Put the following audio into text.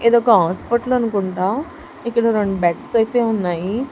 ఇదొక హాస్పెటల్ అనుకుంట ఇక్కడ రొండు బెడ్స్ ఐతే ఉన్నాయి.